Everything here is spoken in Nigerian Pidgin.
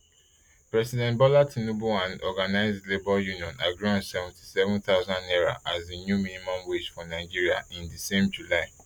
president bola tinubu and organised labour union agree on seventy thousand naira as di new minimum wage for nigeria in di same july